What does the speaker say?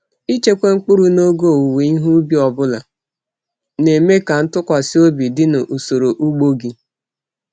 Ịchekwa mkpụrụ n’oge owuwe ihe ubi ọ bụla na-eme ka ntụkwasị obi dị na usoro ugbo gị.